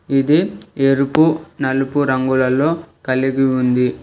ఇది ఎరుపు నలుపు రంగులలో కలిగి ఉంది.